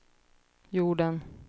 jorden